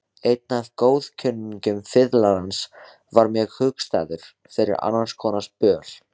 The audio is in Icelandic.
Einn af góðkunningjum fiðlarans varð mér hugstæður fyrir annarskonar böl.